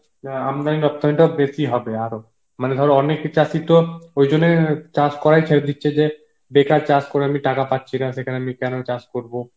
আমদানি রব্তানি টাও বেশি হবে আরো মানে ধর অনেক চাসি তো ওই জন্যই চাস করাই তো ছেড়ে দিচ্ছে যে বেকার চাস করে আমি টাকা পাচ্ছি না সেখানে কেন আমি চাস করবো